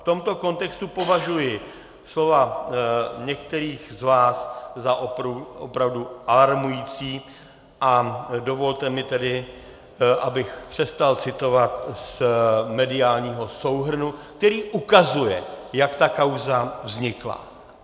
V tomto kontextu považuji slova některých z vás za opravdu alarmující a dovolte mi tedy, abych přestal citovat z mediálního souhrnu, který ukazuje, jak ta kauza vznikla.